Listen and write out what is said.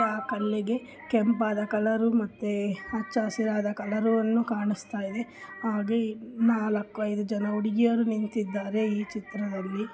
ಕೆಂಪಾದ colour ಮತ್ತೆ ಹಚಾ ಹಸಿರಾದ ಕಲರ್ ಕಾಣಸ್ತಾಇದೆ .